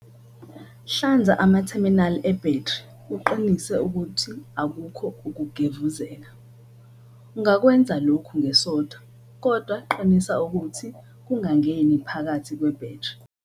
Hlanza amatherminali ebhetri uqinise ukuthi akukho ukugevuzeka. Ungakwenza lokhu ngesoda, kodwa qinisa ukuthi kungangeni phakathi kwebhetri.